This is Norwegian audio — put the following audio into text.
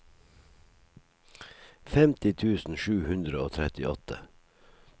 femti tusen sju hundre og trettiåtte